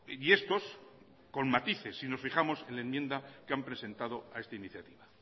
y estos con matices si nos fijamos en la enmienda que han presentado a esta iniciativa